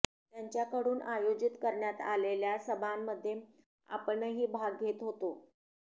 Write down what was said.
त्यांच्याकडून आयोजित करण्यात आलेल्या सभांमध्ये आपणही भाग घेत होतो